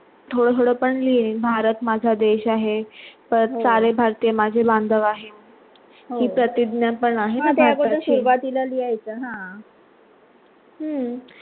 थोडा - थोडा पण लिहिण भारत माझा देश आहे सारे भारतीय माझे